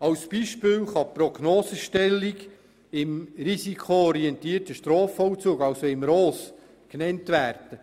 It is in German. Als Beispiel kann die Prognosestellung im risikoorientierten Strafvollzug genannt werden.